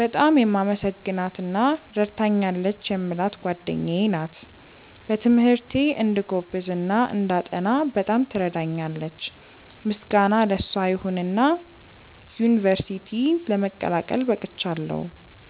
በጣም የማመሰግናት እና ረድታኛለች የምላት ጓደኛዬ ናት። በትምህርቴ እንድጎብዝ እና እንዳጠና በጣም ትረዳኛለች። ምስጋና ለሷ ይሁንና ዩንቨርስቲ ለመቀላቀል በቅቻለው።